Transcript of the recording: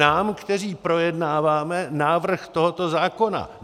Nám, kteří projednáváme návrh tohoto zákona.